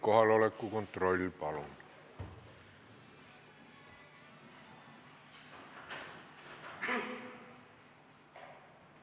Kohaloleku kontroll, palun!